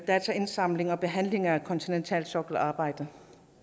dataindsamling og behandling af kontinentalsokkelarbejdet